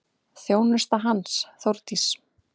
Þjónusta hans, Þórdís